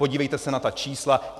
Podívejte se na ta čísla.